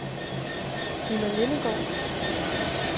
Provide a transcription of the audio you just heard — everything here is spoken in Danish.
Ninna Lindegaard